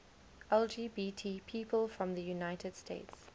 lgbt people from the united states